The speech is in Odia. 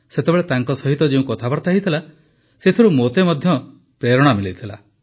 ସେତେବେଳେ ତାଙ୍କ ସହିତ ଯେଉଁ କଥାବାର୍ତ୍ତା ହୋଇଥିଲା ସେଥିରୁ ମୋତେ ମଧ୍ୟ ପ୍ରେରଣା ମିଳିଥିଲା